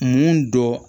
Mun dɔ